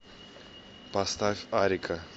поставь арика